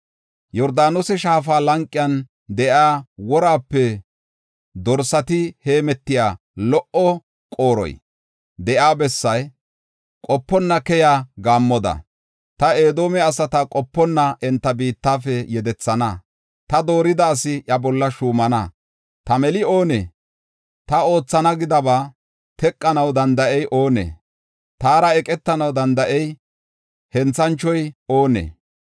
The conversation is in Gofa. “Yordaanose shaafa lanqen de7iya woraape dorsati heemetiya lo77o qooroy de7iya bessaa, qoponna keyiya gaammoda, ta Edoome asata qoponna enta biittafe yedethana. Ta doorida asi iya bolla shuumana. Ta meli oonee? Ta oothana gidaba teqanaw danda7ey oonee? Taara eqetanaw danda7iya henthanchoy oonee?